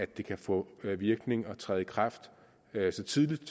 det kan få virkning og træde i kraft så tidligt i